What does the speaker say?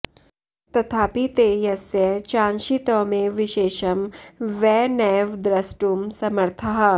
तथापि ते यस्य चांशित्वमेव विशेषं वै नैव द्रष्टुं समर्थाः